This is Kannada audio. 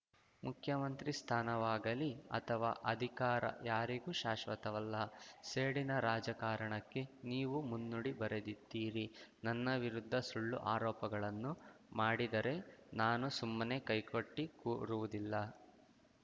ಮುಖ್ಯಮಂತ್ರಿ ಸ್ಥಾನವಾಗಲಿ ಅಥವಾ ಅಧಿಕಾರ ಯಾರಿಗೂ ಶಾಶ್ವತವಲ್ಲ ಸೇಡಿನ ರಾಜಕಾರಣಕ್ಕೆ ನೀವು ಮುನ್ನುಡಿ ಬರೆದಿದ್ದೀರಿ ನನ್ನ ವಿರುದ್ಧ ಸುಳ್ಳು ಆರೋಪಗಳನ್ನು ಮಾಡಿದರೆ ನಾನು ಸುಮ್ಮನೆ ಕೈ ಕಟ್ಟಿಕೂರುವುದಿಲ್ಲ